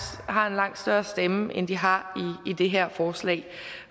har en langt større stemme end de har i det her forslag